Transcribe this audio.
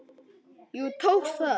Jú, það tókst!